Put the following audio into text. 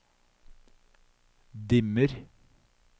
dimmer